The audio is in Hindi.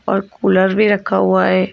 और कूलर भी रखा हुआ है।